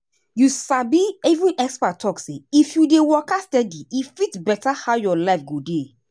you sabi even expert talk say if you dey waka steady e fit better how your life go dey.